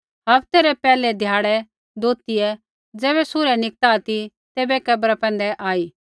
हफ्ते रै पैहलै ध्याड़ै तुआरा बै दोथियै ज़ैबै सूर्य निकता ती ते कब्रा पैंधै आई